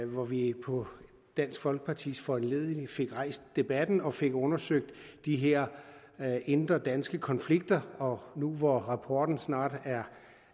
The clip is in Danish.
hvor vi på dansk folkepartis foranledning fik rejst debatten og fik undersøgt de her indre danske konflikter nu hvor rapporten snart er